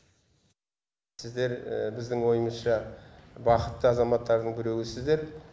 сіздер біздің ойымызша бақытты азаматтардың біреуісіздер